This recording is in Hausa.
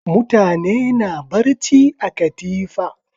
Mutane na barci a katifa.